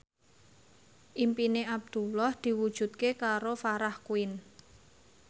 impine Abdullah diwujudke karo Farah Quinn